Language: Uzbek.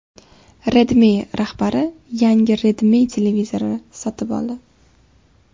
Redmi rahbari yangi Redmi televizori sotib oldi.